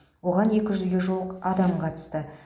оған екі жүзге жуық адам қатысты